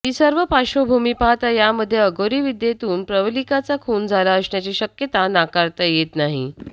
ही सर्व पार्श्वभूमी पाहता यामध्ये अघोरी विद्येतून प्रवलिकाचा खून झाला असण्याची शक्यता नाकारता येत नाही